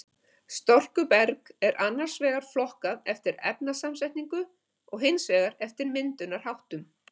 Storkuberg er annars vegar flokkað eftir efnasamsetningu og hins vegar eftir myndunarháttum.